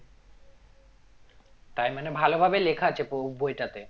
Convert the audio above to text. তার মানে ভালো ভাবে লেখা আছে ববইটাতে